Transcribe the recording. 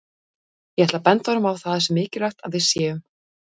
Ég ætla að benda honum á að það sé mikilvægt að við séum